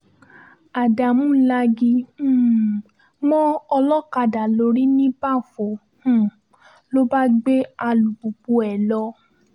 ádámù lagi um mọ́ olókàdá lórí níbàfò um ló bá gbé alùpùpù ẹ̀ lọ